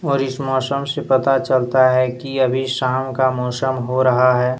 और इस मौसम से पता चलता है कि अभी शाम का मौसम हो रहा है।